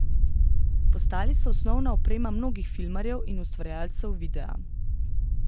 Postali so osnovna oprema mnogih filmarjev in ustvarjalcev videa.